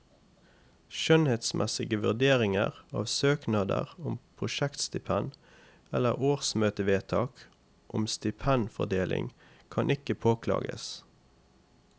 Skjønnsmessige vurderinger av søknader om prosjektstipend eller årsmøtevedtak om stipendfordeling kan ikke påklages.